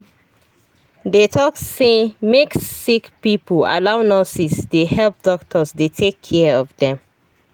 they talk say make sick pipo allow nurses dey help doctors dey take care of dem.